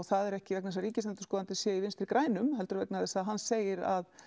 það er ekki vegna þess að Ríkisendurskoðun sé í vinstri grænum heldur vegna þess að hann segir að